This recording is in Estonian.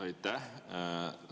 Aitäh!